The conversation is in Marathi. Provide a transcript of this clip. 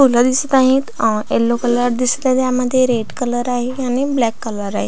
फूल दिसत आहेत यल्लो कलर दिसत आहेत ह्यामध्ये रेड कलर आहे आणि ब्लॅक कलर आहे.